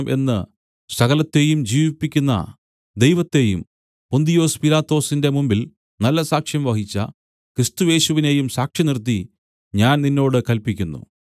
എന്ന് സകലത്തെയും ജീവിപ്പിക്കുന്ന ദൈവത്തെയും പൊന്തിയൊസ് പീലാത്തോസിന്റെ മുമ്പിൽ നല്ല സാക്ഷ്യം വഹിച്ച ക്രിസ്തുയേശുവിനെയും സാക്ഷിനിർത്തി ഞാൻ നിന്നോട് കല്പിക്കുന്നു